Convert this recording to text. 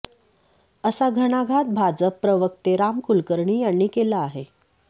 असा घणाघात भाजप प्रवक्ते राम कुलकर्णी यांनी केला आहे